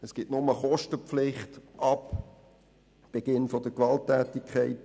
Die Kostenpflicht entsteht erst ab Beginn der Gewalttätigkeiten.